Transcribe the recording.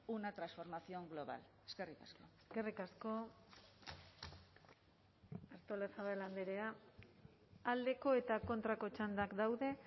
una transformación global eskerrik asko eskerrik asko artolazabal andrea aldeko eta kontrako txandak daude